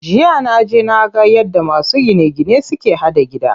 Jiya naje naga yadda masu gine gine suke haɗa gida.